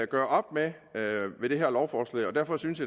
gør op med med det her lovforslag derfor synes